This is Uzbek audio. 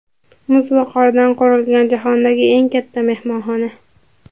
Muz va qordan qurilgan jahondagi eng katta mehmonxona.